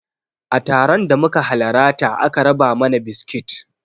A taron da muka halarata aka raba mana biskit